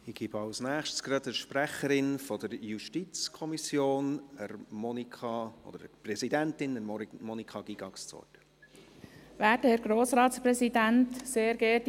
Ich gebe als Nächstes gleich der Sprecherin der JuKo, beziehungsweise deren Präsidentin, Monika Gygax, das Wort.